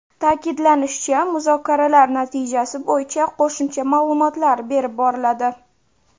Ta’kidlanishicha, muzokaralar natijasi bo‘yicha qo‘shimcha ma’lumotlar berib boriladi.